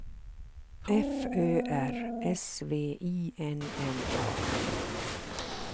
F Ö R S V I N N A